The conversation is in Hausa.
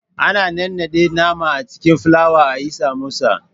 Ana nannaɗe nama a cikin filawa ayi Samosa